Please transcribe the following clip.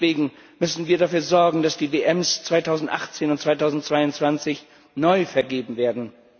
Ihretwegen müssen wir dafür sorgen, dass die Weltmeisterschaften 2018 und 2022 neu vergeben werden.